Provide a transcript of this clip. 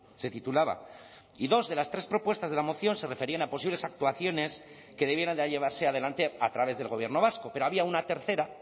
se titulaba y dos de las tres propuestas de la moción se referían a posibles actuaciones que debieran de llevarse adelante a través del gobierno vasco pero había una tercera